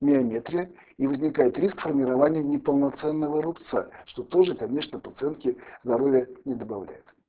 миометрия и возникает риск формирования неполноценного рубца что тоже конечно пациентке здоровья не добавляет